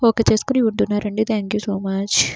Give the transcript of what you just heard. Okay చేసుకుని ఉంటున్నారని thank you so much .